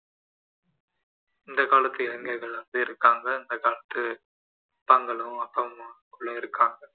இந்த காலத்து இளைஞர்கள் நிறையபேர் இருக்கிறாங்க இந்த காலத்து அப்பாங்களும் அப்பா அம்மாவும் இருக்கிறாங்க